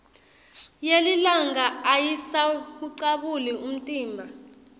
yelilanga ayisawucabuli umtimba